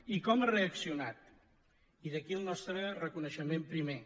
i com ha reaccionat i d’aquí el nostre reconeixement primer